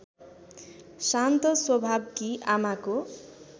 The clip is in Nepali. शान्त स्वभावकी आमाको